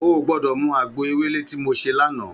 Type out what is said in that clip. Ó gbòdò mú àgbó éwélé ti mó sé làná